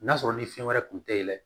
N'a sɔrɔ ni fɛn wɛrɛ kun tɛ i la